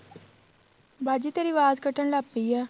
ਬਾਜੀ ਤੇਰੀ ਵਾਜ ਕੱਟਣ ਲੱਗ ਪਈ ਏ